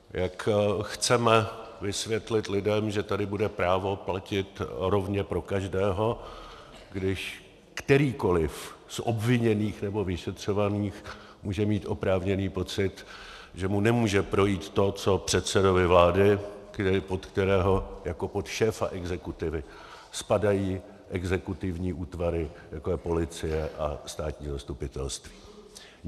Jak chceme vysvětlit lidem, že tady bude právo platit rovně pro každého, když kterýkoliv z obviněných nebo vyšetřovaných může mít oprávněný pocit, že mu nemůže projít to, co předsedovi vlády, pod kterého jako pod šéfa exekutivy spadají exekutivní útvary, jako je policie a státní zastupitelství?